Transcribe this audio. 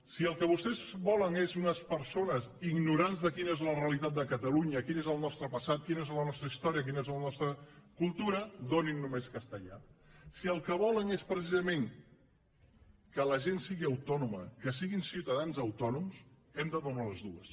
si el que vostès volen és unes persones ignorants de quina és la realitat de catalunya quin és el nostre passat quina és la nostra història quina és la nostra cultura donin només castellà si el que volen és precisament que la gent sigui autònoma que siguin ciutadans autònoms hem de donar les dues